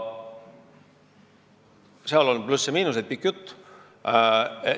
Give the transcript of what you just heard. Seal on plusse ja miinuseid – pikk jutt.